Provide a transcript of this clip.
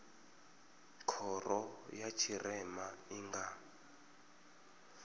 khoro ya tshirema i nga